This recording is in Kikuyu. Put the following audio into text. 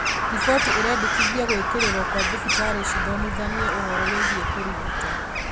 Riboti ĩrendekithia gũĩkĩrĩrũo kwa thibitarĩ cithomithanie ũhoro wĩĩgiĩ kũĩrigita